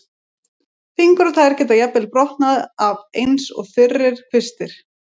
Fingur og tær geta jafnvel brotnað af eins og þurrir kvistir.